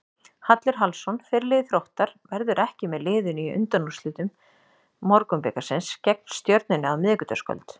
Hallur Hallsson, fyrirliði Þróttar, verður ekki með liðinu í undanúrslitum Borgunarbikarsins gegn Stjörnunni á miðvikudagskvöld.